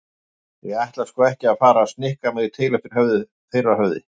Ég ætla sko ekki að fara að snikka mig til eftir þeirra höfði.